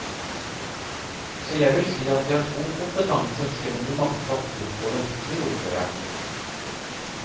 Så jeg vil si at de har god kompetanse selv om de mangler papirer på det, sier ordføreren.